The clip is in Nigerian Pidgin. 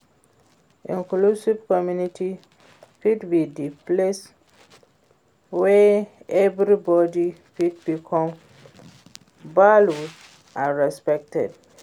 inclusive community fit be di place wey everybody feel welcome, valued and respected.